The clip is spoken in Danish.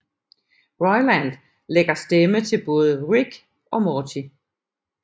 Roiland lægger stemme til både Rick og Morty